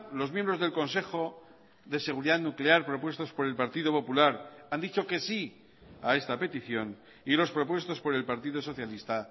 los miembros del consejo de seguridad nuclear propuestos por el partido popular han dicho que sí a esta petición y los propuestos por el partido socialista